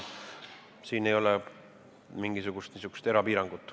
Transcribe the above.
Siin ei ole mingisugust piirangut.